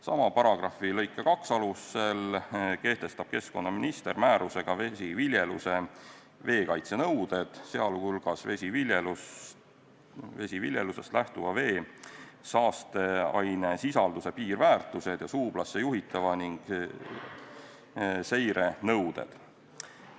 Sama paragrahvi lõike 2 alusel kehtestab keskkonnaminister määrusega vesiviljeluse veekaitsenõuded, sh vesiviljelusest lähtuva vee saasteainesisalduse piirväärtused ja suublasse juhtimise ning seire nõuded.